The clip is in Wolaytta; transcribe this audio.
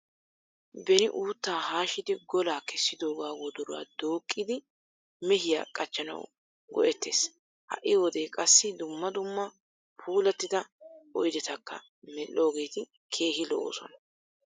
Beni uuttaa haashshidi golaa kessidoogaa wodoruwa dooqqidi mehiya qachchanawu go'ettes. Ha'i wode qassi dumma dumma puulattida oyidetakka medhdhoogeti keehi lo'oosona.